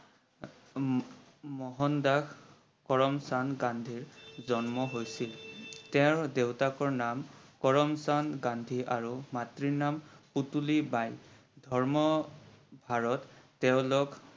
মোহন দাস কৰমচন্দ গান্ধী জন্ম হৈছিল। তেওৰ দেউতাকৰ নাম কৰমচন্দ গান্ধী আৰু মাতৃৰ নাম পুতুলি বাই। ধৰ্মৰ আৰত তেওলোক